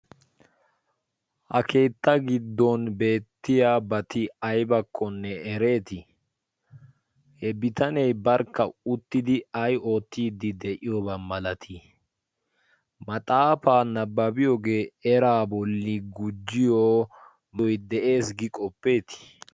ha keetta giddon beettiya bati aybakkonne ereetii? he bitanee barkka uttidi ay ootiiddi de'iyoobaa malatii maxaafaa nabbabiyoogee eraa bolli gujjiyo doy de'ees.